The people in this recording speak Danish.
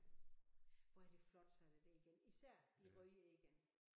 Hvor er det flot sådan et egern især de røde egern